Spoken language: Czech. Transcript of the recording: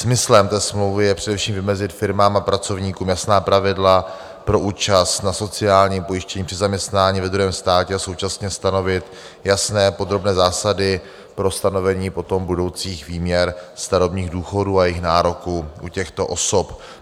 Smyslem té smlouvy je především vymezit firmám a pracovníkům jasná pravidla pro účast na sociálním pojištění při zaměstnání ve druhém státě a současně stanovit jasné podrobné zásady pro stanovení potom budoucích výměr starobních důchodů a jejich nároků u těchto osob.